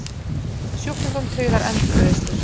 Sjúklingum tryggðar endurgreiðslur